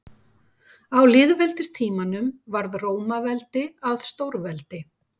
Á lýðveldistímanum varð Rómaveldi að stórveldi.